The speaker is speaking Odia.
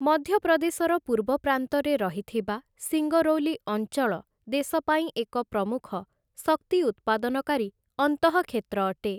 ମଧ୍ୟପ୍ରଦେଶର ପୂର୍ବ ପ୍ରାନ୍ତରେ ରହିଥିବା ସିଙ୍ଗରୌଲି ଅଞ୍ଚଳ ଦେଶ ପାଇଁ ଏକ ପ୍ରମୁଖ ଶକ୍ତି ଉତ୍ପାଦନକାରୀ ଅନ୍ତଃକ୍ଷେତ୍ର ଅଟେ ।